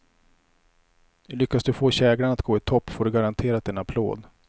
Lyckas du få käglan att gå i topp får du garanterat en applåd.